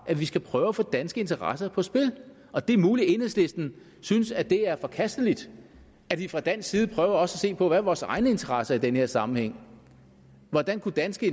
at vi skal prøve at få danske interesser på spil og det er muligt at enhedslisten synes at det er forkasteligt at vi fra dansk side også se på hvad vores egne interesser er i den her sammenhæng og hvordan danske